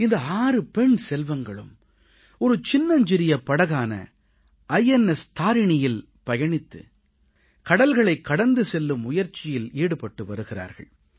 இந்த 6 பெண் செல்வங்களும் ஒரு சின்னஞ்சிறிய படகான ஐஎன்எஸ் TARINIயில் பயணித்து கடல்களைக் கடந்து செல்லும் முயற்சியில் ஈடுபட்டு வருகிறார்கள்